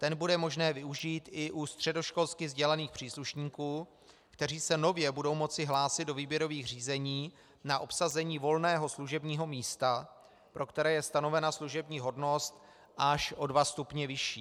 Ten bude možné využít i u středoškolsky vzdělaných příslušníků, kteří se nově budou moci hlásit do výběrových řízení na obsazení volného služebního místa, pro které je stanovena služební hodnost až o dva stupně vyšší.